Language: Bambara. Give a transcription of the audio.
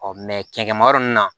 cɛncɛnmayɔrɔ ninnu na